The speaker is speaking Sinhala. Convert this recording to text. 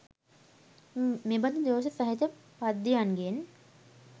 මෙබඳු දෝෂ සහිත පද්‍යයන්ගෙන්